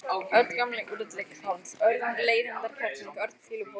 Örn gamli úrilli karl, Örn leiðindakerling, Örn fýlupoki.